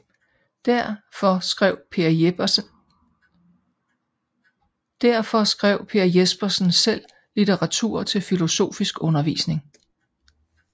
Derfor skrev Per Jespersen selv litteratur til filosofisk undervisning